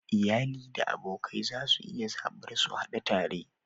Iyali da abokai za su iya zaɓar su hadu tare.